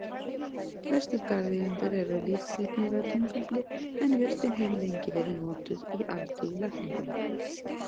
Flestir garðeigendur eru lítt hrifnir af túnfífli en jurtin hefur lengi verið notuð í alþýðulækningum.